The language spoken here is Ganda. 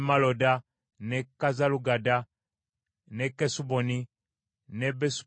n’e Kazalugadda n’e Kesuboni, n’e Besupereti